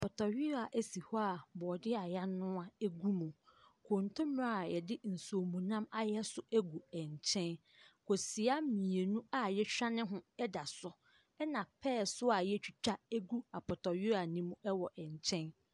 Apɔtɔyewaa si hɔ a brɔde a y'anua egu mu. Kontomire a yɛde nsuo mu nam ayɛ nso egu nkyɛn. Kosua mmienu a y'ahwani ho ada so. Ɛna pɛɛ so a y'atwitwa gu apɔtɔyewaa ne mu ɛwɔ nkyɛn.